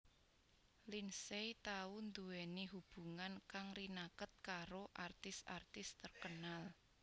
Lindsay tau nduwèni hubungan kang rinaket karo artis artis terkenal